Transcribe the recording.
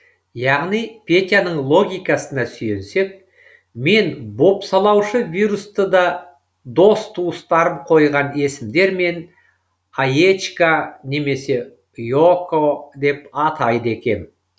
яғни петяның логикасына сүйенсек мен бопсалаушы вирусты да дос туыстарым қойған есімдермен аечка немесе и око деп атайды екем